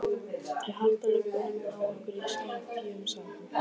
Þau halda lubbanum á ykkur í skefjum, sagði hún.